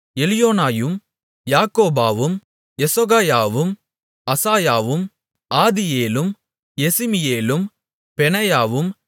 எலியோனாயும் யாக்கோபாவும் யெசொகாயாவும் அசாயாவும் ஆதியேலும் யெசிமியேலும் பெனாயாவும்